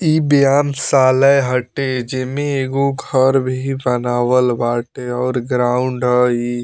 इ व्यायामशाला हटे जेमे एगो घर भी बनावल बाटे और ग्राउंड हअ इ।